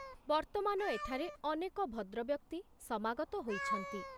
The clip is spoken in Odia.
ବର୍ତ୍ତମାନ ଏଠାରେ ଅନେକ ଭଦ୍ରବ୍ୟକ୍ତି ସମାଗତ ହୋଇଛନ୍ତି।